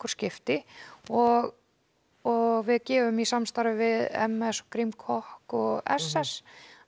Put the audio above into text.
skipti og og við gefum í samstarfi við m s Grím kokk og s s s